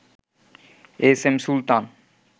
S M Sultan